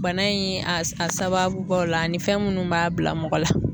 Bana in a a sababubaw la ani fɛn minnu b'a bila mɔgɔ la.